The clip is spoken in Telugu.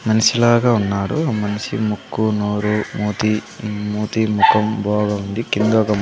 మనిషిలాగా ఉన్నారు ఆ మనిషి ముక్కు నోరు మూతి మూతి ముఖం బాగా ఉండి కింద ఒక.